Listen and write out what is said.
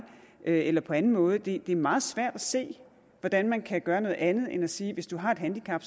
eller på anden måde det er meget svært at se hvordan man kan gøre noget andet end at sige at hvis du har et handicap